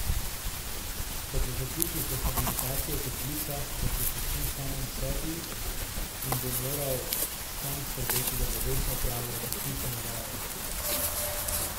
Ko bo zaključil z rehabilitacijo v toplicah, bo prepuščen samemu sebi in bo moral sam skrbeti, da bo vestno opravljal predpisane vaje.